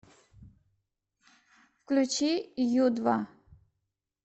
включи ю два